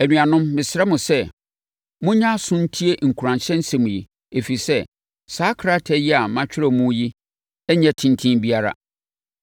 Anuanom, mesrɛ mo sɛ, monyɛ aso ntie nkuranhyɛ nsɛm yi, ɛfiri sɛ, saa krataa a matwerɛ mo yi nnyɛ tenten biara.